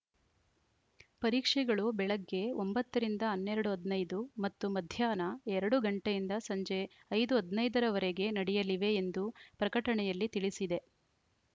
ಪರೀಕ್ಷೆಗಳು ಬೆಳಗ್ಗೆ ಒಂಬತ್ತ ರಿಂದ ಹನ್ನೆರಡು ಹದಿನೈದು ಮತ್ತು ಮಧ್ಯಾಹ್ನ ಎರಡು ಗಂಟೆಯಿಂದ ಸಂಜೆ ಐದು ಹದಿನೈದ ರ ವರೆಗೆ ನಡೆಯಲಿವೆ ಎಂದು ಪ್ರಕಟಣೆಯಲ್ಲಿ ತಿಳಿಸಿದೆ